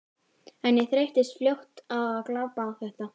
En ég þreyttist fljótt á að glápa á þetta.